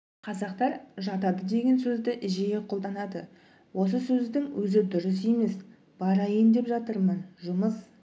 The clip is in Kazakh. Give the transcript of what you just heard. қазақтар жатады деген сөзді жиі қолданады осы сөздің өзі дұрыс емес барайын деп жатырмын жұмыс